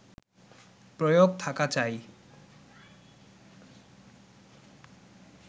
প্রয়োগ থাকা চাই